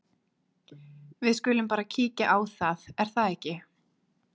Við skulum bara kíkja á það, er það ekki?